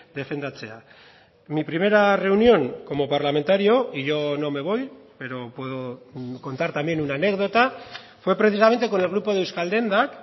defendatzea mi primera reunión como parlamentario y yo no me voy pero puedo contar también una anécdota fue precisamente con el grupo de euskaldendak